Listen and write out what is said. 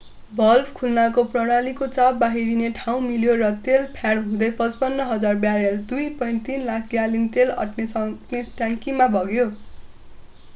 Valve खुल्नाले प्रणालीको चाप बाहिरिने ठाउँ मिल्यो र तेल प्याड हुँदै 55,000 ब्यारेल 2.3 लाख ग्यालन तेल अट्न सक्ने ट्याङ्कीमा बग्यो।